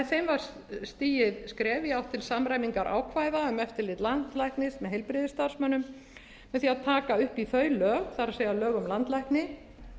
var stigið skref í átt til samræmingar ákvæða um eftirlit landlæknis með heilbrigðisstarfsmönnum með því að taka upp í þau lög það er lög um landlækni